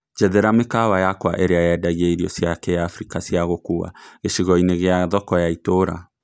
Njethera mĩkawa yakwaĩrĩa yendagĩaĩrĩo cĩa kĩafrĩka cĩa gũkũũa ,gĩchĩgo-ĩni gĩa thoko ya ituura